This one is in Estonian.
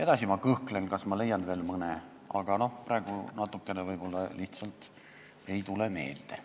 Edasi ma juba kõhklen, kas ma leian veel mõne näite, praegu võib-olla lihtsalt ei tule meelde.